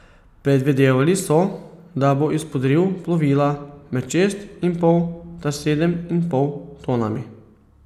Predvidevali so, da bo izpodriv plovila med šest in pol ter sedem in pol tonami.